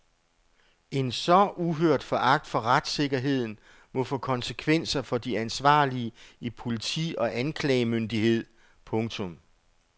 En så uhørt foragt for retssikkerheden må få konsekvenser for de ansvarlige i politi og anklagemyndighed. punktum